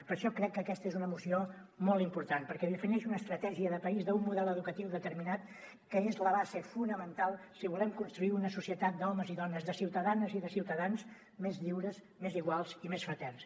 per això crec que aquesta és una moció molt important perquè defineixi una estratègia de país d’un model educatiu determinat que és la base fonamental si volem construir una societat d’homes i dones de ciutadanes i de ciutadans més lliures més iguals i més fraterns